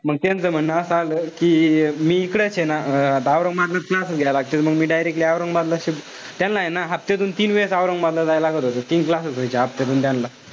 मंग तेंच म्हणणं असं आलं कि मी इकडेच ए ना अं आता औरंगाबादलाच classes घ्यावे लागतील मग मी directly औरंगाबाद ला shift. त्यांना ए ना तिथून तीन वेळेस औरंगाबादला जायला लागत होत. तीन classes व्हायचे हफ्त्यातून त्यांना.